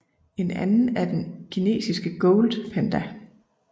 En anden er den kinesiske Gold Panda